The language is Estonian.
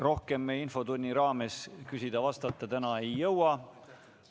Rohkem me infotunni raames küsida-vastata täna ei jõua.